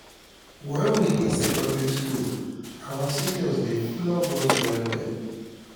wen we dey secondary school our seniors dey flog us well well